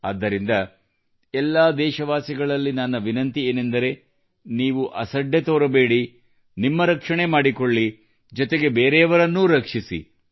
ಆದ್ದರಿಂದ ಎಲ್ಲಾ ದೇಶವಾಸಿಗಳಲ್ಲಿ ನನ್ನ ವಿನಂತಿ ಏನೆಂದರೆ ನೀವು ಅಸಡ್ಡೆ ತೋರಿಸಬೇಡಿ ನಿಮ್ಮ ರಕ್ಷಣೆ ಮಾಡಿಕೊಳ್ಳಿ ಜೊತೆಗೆ ಬೇರೆಯವರನ್ನೂ ರಕ್ಷಿಸಿ